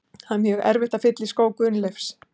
Það er mjög erfitt að fylla í skó Gunnleifs.